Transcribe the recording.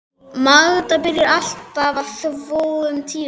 Magda byrjaði alltaf að þvo um tíuleytið á